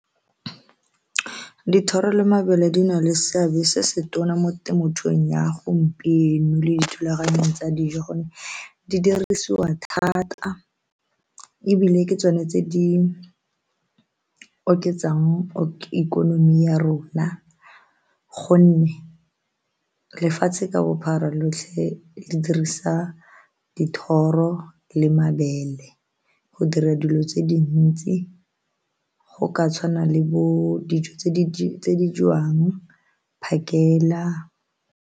Dithoro le mabele di na le seabe se se tona mo temothung ya gompieno le dithulaganyo tsa dijo gonne di dirisiwa thata ebile ke tsone tse di oketsang ikonomi ya rona gonne lefatshe ka bophara lotlhe di dirisa dithoro le mabele go dira dilo tse dintsi go ka tshwana le bo dijo tse di jewang phakela.